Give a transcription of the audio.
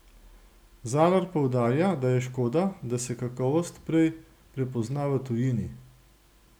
Zalar poudarja, da je škoda, da se kakovost prej prepozna v tujini.